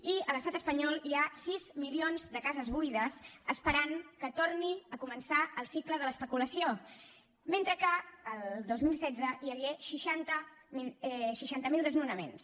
i a l’estat espanyol hi ha sis milions de cases buides que esperen que torni a començar el cicle de l’especulació mentre que el dos mil setze hi hagué seixanta mil desnonaments